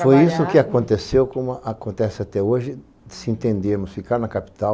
Foi isso que aconteceu, como acontece até hoje, se entendermos, ficar na capital.